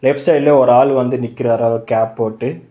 Left சைடுல ஒரு ஆள் வந்து நிக்கிறாரு அவர் கேப் போட்டு.